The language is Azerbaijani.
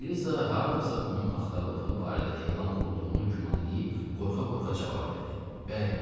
Eliza hardasa onun axtarıldığı barədə elan vurulduğunu güman eləyib, qorxa-qorxa cavab verdi: Bəli.